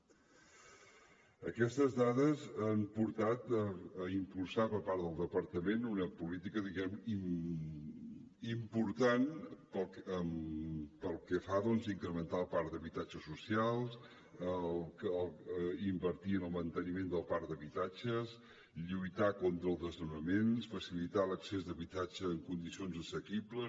aquestes dades han portat a impulsar per part del departament una política diguem ne important pel que fa a incrementar el parc d’habitatge social invertir en el manteniment del parc d’habitatges lluitar contra els desnonaments facilitar l’accés d’habitatge en condicions assequibles